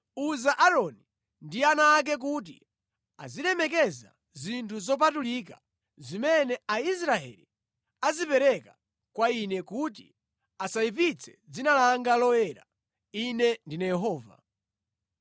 “Uza Aaroni ndi ana ake kuti azilemekeza zinthu zopatulika zimene Aisraeli azipereka kwa Ine, kuti asayipitse dzina langa loyera. Ine ndine Yehova.